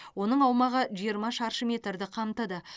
оның аумағы жиырма шаршы метрді қамтыды